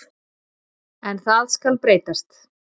En það skal breytast.